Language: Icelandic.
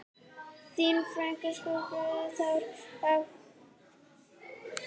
Þín frænka Sólborg Þóra.